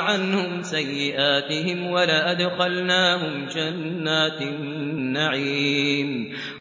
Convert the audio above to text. عَنْهُمْ سَيِّئَاتِهِمْ وَلَأَدْخَلْنَاهُمْ جَنَّاتِ النَّعِيمِ